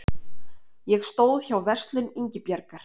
Ég stóð hjá Verslun Ingibjargar